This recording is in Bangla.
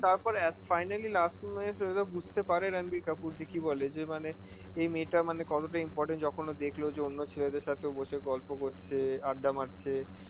তারপরে at~ finally moment এ সে হয়তো বুঝতে পারে রাণবীর কাপুর যে কি বলে, যে মানে এই মেয়েটা মানে কতটা important, যখন ও দেখল যে অন্য ছেলেদের সাথে বসে গল্প করছে, আড্ডা মারছে,